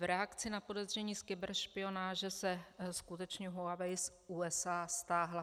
V reakci na podezření z kyberšpionáže se skutečně Huawei z USA stáhla.